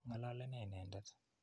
Ng'alale ne inendet?